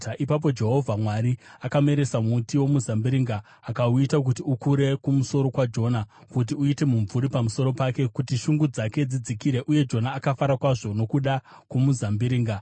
Ipapo Jehovha Mwari akameresa muti womuzambiringa, akauita kuti ukure kumusoro kwaJona kuti uite mumvuri pamusoro pake, kuti shungu dzake dzidzikire, uye Jona akafara kwazvo nokuda kwomuzambiringa.